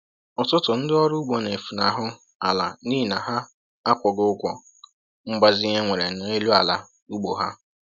Ụtụtụ ndị ọrụ ugbo na-efunahụ ala n’ihi na ha akwụghị ụgwọ mgbazinye ewere n’elu ala ugbo ha